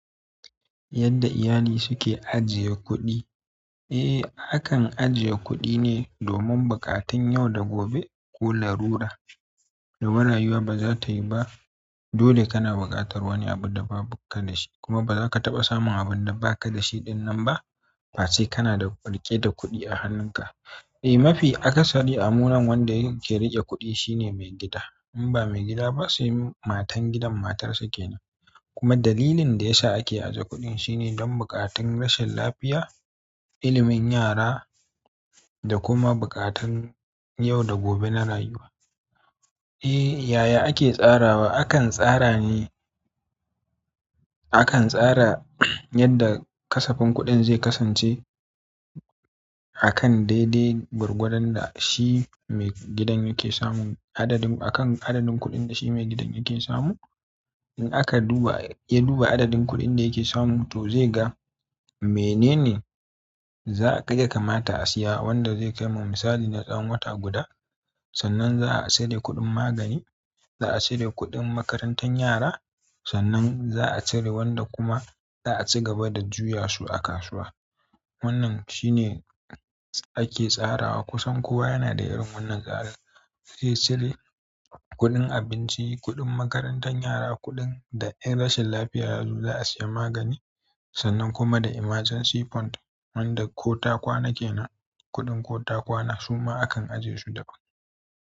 Yadda iyali suke ajiye kuɗi eh, hakan ajiye kuɗi ne domin buƙatun yau da gobe ko larura. Domin rayuwa ba za ta yi ba. Dole kana buƙatar wani abu da ba bukata shi. Kuma ba za ka taɓa samun abun da ba ka da shi ɗinnan ba. Face kana da riƙe da kuɗi a hannunka. Eh, mafi akasari amunan wanda yake riƙe kuɗi shine maigida. In ba maigida ba sai matan gidan matar sa ke nan. Kuma dalilin da ya sa ake ajiye kuɗi shine don buƙatun rashin lafiya, ilimin yara da kuma buƙatun yau da gobe na rayuwa. Eh, yaya ake tsarawa? Akan tsara ne. Akan tsara yadda ƙasafin kuɗin zai kasance a kan daidai gwargwadan da shi maigidan yake samun adadin, a kan adadin kuɗin da shi maigidan yake samu. In aka duba ya duba adadin kuɗin da ya ke samu to zai ga menene ya kamata a siya wanda zai kai ma misalin na tsawon wata guda sannan za a cire kuɗin magani, za a cire kuɗin makarantar yara, sannan za a cire wanda kuma za a cigaba da juya su a kasuwa wannan shine ake tsarawa kusan kowa yana da irin wannan tsara. Eh, cire kuɗin abinci, kuɗin makarantan yara, kuɗin da rashin lafiya yanzu za a siya magani. Sannan kuma da emergency fund wanda ko ta kwana kenan kuɗin ko ta kwana suma akan ajiye su daban.